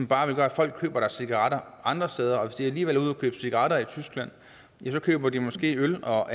bare gøre at folk køber deres cigaretter andre steder og hvis de alligevel er ude at købe cigaretter i tyskland ja så køber de måske øl og